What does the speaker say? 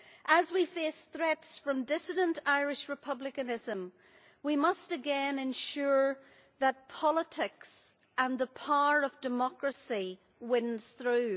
As we face threats from dissident Irish Republicanism we must again ensure that politics and the power of democracy wins through.